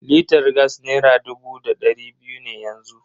Litar gas nera dubu da dari biyu ne yanzu.